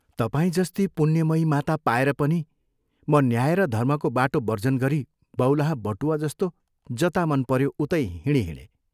तपाईं जस्ती पुण्यमयीमाता पाएर पनि म न्याय र धर्मको बाटो वर्जन गरी बौलाहा बटुवा जस्तो जता मन पऱ्यो उतै हिँड़हिँडे।